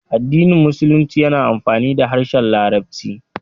Addinin Musulunci yana amfani da harshen Larabci.